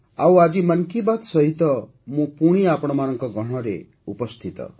ଆଉ ଆଜି 'ମନ୍ କି ବାତ୍' ସହିତ ମୁଁ ପୁଣି ଆପଣମାନଙ୍କ ଗହଣରେ ଉପସ୍ଥିତ